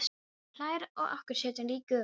Sem hlær að okkur sitjandi í gufunni.